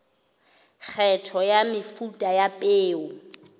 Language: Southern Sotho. kgetho ya mefuta ya peo